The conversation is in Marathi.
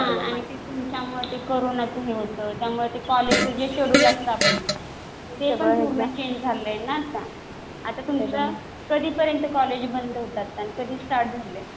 हा ते तुमच्यामुळं ते कोरोनाचं हे होतं. त्यामुळे ते कॉलेजचं जे शेड्युल्ड असतं आपलं ते पण पूर्ण चेंज झालंय ना आता. आता तुमचं कधीपर्यंत कॉलेज बंद होतं आता आणि कधी स्टार्ट झालंय?